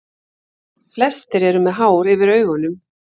Flestir eru með hár yfir augunum.